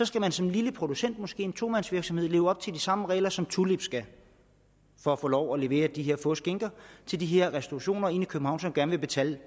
skal man som lille producent måske som en tomandsvirksomhed leve op til de samme regler som tulip skal for at få lov til at levere de her få skinker til de her restaurationer inde i københavn som gerne vil betale